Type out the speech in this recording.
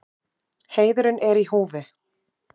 Heiðurinn er í húfi.